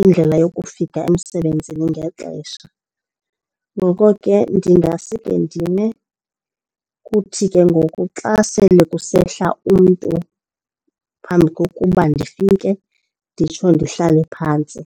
indlela yokufika emsebenzini ngexesha. Ngoko ke ndingasuke ndime kuthi ke ngoku xa sele kusehla umntu phambi kokuba ndifike nditsho ndihlale phantsi.